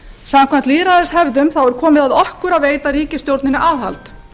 samkvæmt lýðræðislegum hefðum er komið að okkur að veita ríkisstjórninni aðhald